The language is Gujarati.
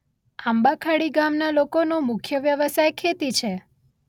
આંબાખાડી ગામના લોકોનો મુખ્ય વ્યવસાય ખેતી છે.